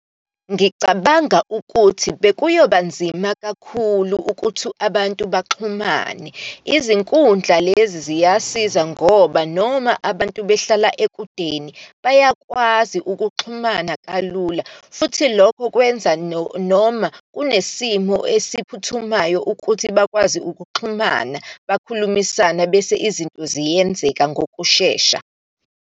Ngicabanga ukuthi bekuyoba nzima kakhulu ukuthi abantu baxhumane. Izinkundla lezi ziyasiza ngoba, noma abantu behlala ekudeni bayakwazi ukuxhumana kalula futhi, lokho kwenza noma kunesimo esiphuthumayo ukuthi bakwazi ukuxhumana, bakhulumisane bese izinto ziyenzeka ngokushesha.